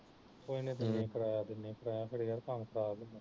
ਕੋਈ ਨੀ ਦਿੰਨੀ ਕਰਾਇਆ ਦਿਨੀ ਮੈਂ ਫਿਰ ਕੰਮ ਖਰਾਬ